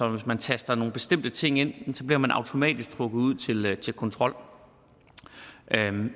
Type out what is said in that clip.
at hvis man taster nogle bestemte ting ind bliver man automatisk trukket ud til til kontrol